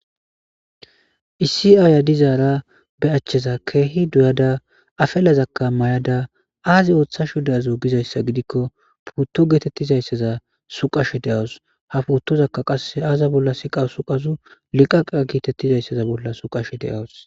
Issi aaya dizaara be achcheza keehi duyada afelazakka may'ada aazi ooththashu deazu gizayssa gidikko putto geetettizayssaza suqashe de'awus ha puottozakka qasse aaza bolla siqa suqazu liqaqa giitettizayssaza bolla suqash de'awus.